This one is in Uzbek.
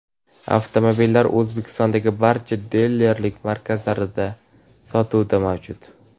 Avtomobillar O‘zbekistondagi barcha dilerlik markazlarida sotuvda mavjud.